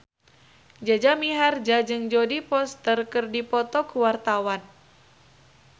Jaja Mihardja jeung Jodie Foster keur dipoto ku wartawan